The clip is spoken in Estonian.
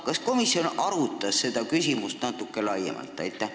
Kas komisjon arutas seda küsimust natuke laiemalt?